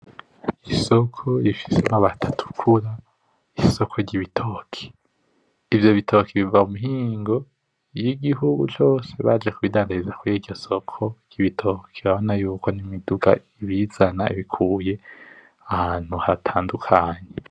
Isoko rifise amati atukura isoko ry’ibitoki ivyo bitoki biva mu mihingo y’igihugu cose baje ku bidandariza kuriryo soko ry’ibitoki urabona ko imiduga iyizana iyikuye ahantu hatandukanye.